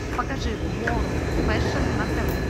покажи ворлд фэшн на тв